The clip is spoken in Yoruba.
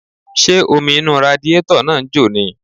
Ṣé omi inú radiátọ̀ náà ń jò ni?